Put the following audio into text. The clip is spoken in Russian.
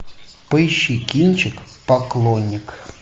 поищи кинчик поклонник